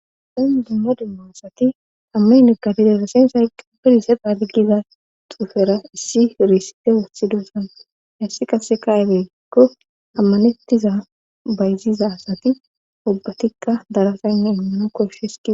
dan dimma demmoasati ammine katidedasensa qpirisefaadgiza tuufera issi riisite woothidosan hissi qase kaebekko ammanettiza bayziza asati ubbatikka darasaynne inmano koshshes tii